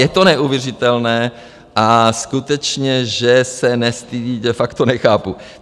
Je to neuvěřitelné a skutečně, že se nestydí, de facto nechápu.